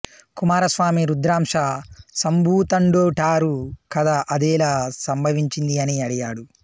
కుమారస్వామి రుద్రాంశ సంభూతుడంటారు కదా అదెలా సంభవించింది అని అడిగాడు